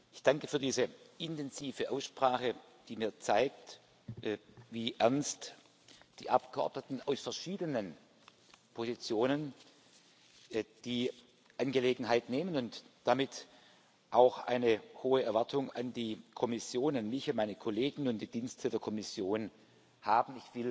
Ich danke für diese intensive Aussprache, die mir zeigt, wie ernst die Abgeordneten aus verschiedenen Positionen die Angelegenheit nehmen und damit auch eine hohe Erwartung an die Kommission an mich, an meine Kollegen und die Dienste der Kommission haben.